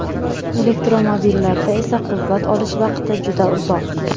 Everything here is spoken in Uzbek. Elektromobillarda esa quvvat olish vaqti juda uzoq.